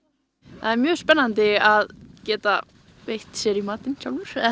það er mjög spennandi að geta veitt sér í matinn sjálfur eða